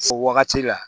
O wagati la